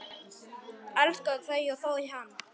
Elskaði þau og þau hann.